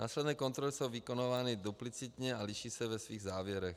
Následné kontroly jsou vykonávány duplicitně a liší se ve svých závěrech.